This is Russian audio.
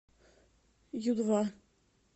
ю два